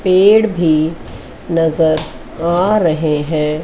पेड़ भी नजर आ रहे हैं।